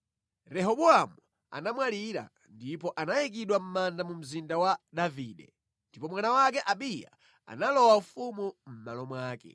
Rehobowamu anamwalira, ndipo anayikidwa mʼmanda mu mzinda wa Davide. Ndipo mwana wake Abiya analowa ufumu mʼmalo wake.